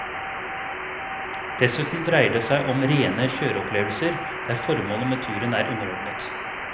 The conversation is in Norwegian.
Dessuten dreier det seg om rene kjøreopplevelser der formålet med turen er underordnet.